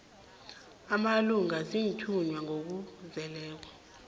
amalunga aziinthunywa ngokuzeleko